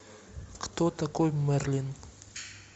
кто такой мерлин